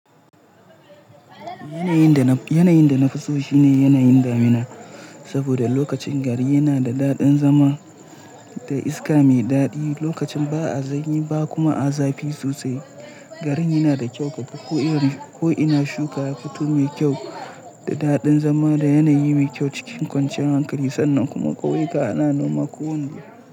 Yanayin da na fi so shi ne yanayin damina saboda lokacin gari yana da daɗin zama da iska mai daɗi. Lokacin ba a sanyi ba kuma a zafi sosai. Garin yana da kyau kaga ko irin ko ina shuka yafuto mai kyau da daɗin zama da yanayi mai kyau cikin kwanciyar hankali. Sannan kuma ƙauyuka ana noma ko wane.